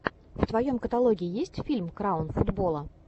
в твоем каталоге есть фильм краун футбола